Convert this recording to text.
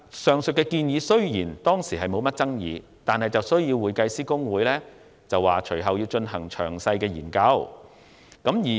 雖然上述建議當時並無引起甚麼爭議，但公會其後表示需進行詳細研究。